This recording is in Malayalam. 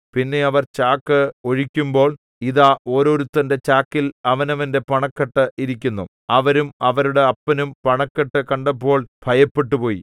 പിന്നെ അവർ ചാക്ക് ഒഴിക്കുമ്പോൾ ഇതാ ഓരോരുത്തന്റെ ചാക്കിൽ അവനവന്റെ പണക്കെട്ട് ഇരിക്കുന്നു അവരും അവരുടെ അപ്പനും പണക്കെട്ട് കണ്ടപ്പോൾ ഭയപ്പെട്ടുപോയി